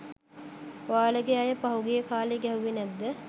ඔයාලගෙ අය පහුගිය කාලෙ ගෑහුවෙ නෑද්ද?